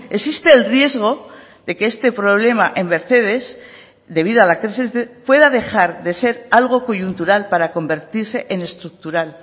existe el riesgo de que este problema en mercedes debido a la crisis pueda dejar de ser algo coyuntural para convertirse en estructural